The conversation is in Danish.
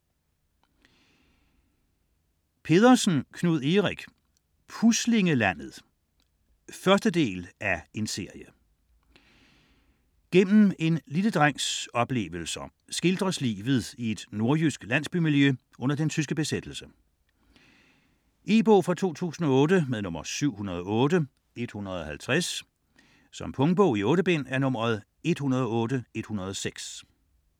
Pedersen, Knud Erik: Puslinglandet 1.del af serie. Gennem en lille drengs oplevelser skildres livet i et nordjysk landsbymiljø under den tyske besættelse. E-bog 708150 2008. Punktbog 108106 2008. 8 bind.